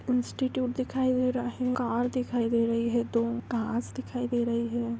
Institute दिखाई दे रहा है कार दिखाई दे रही है घास दिखाई दे रही है।